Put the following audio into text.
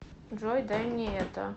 джой дай мне это